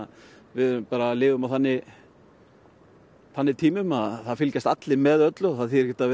við lifum á þannig þannig tímum að það fylgjast allir með öllu og það þýðir ekkert að